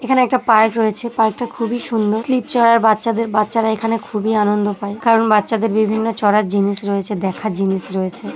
এখানে একটা পার্ক রয়েছে পার্ক টা খুবই সুন্দর বাচ্চাদের বাচ্চারা এখানে খুবই আনন্দ পায় কারণ বাচ্চাদের বিভিন্ন চড়ার জিনিস রয়েছে দেখার জিনিস রয়েছে ।